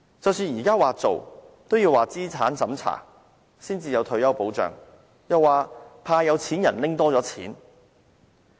即使現時說會做，都要通過資產審查，才有退休保障；又說怕有錢人拿多了錢。